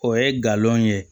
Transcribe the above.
O ye galon ye